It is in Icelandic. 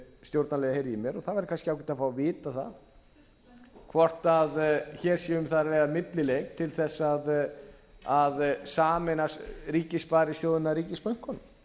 stjórnarliðar heyra í mér og það væri kannski ágætt að fá að vita það hvort hér sé um að ræða millileið til þess að sameina ríkissparisjóðina ríkisbönkunum